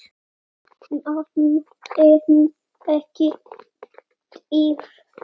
Mann en ekki dýr.